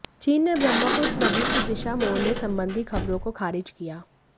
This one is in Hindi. चीन ने ब्रह्मपुत्र नदी की दिशा मोड़ने संबंधी खबरों को खारिज किया